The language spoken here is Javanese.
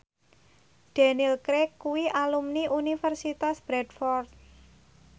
Daniel Craig kuwi alumni Universitas Bradford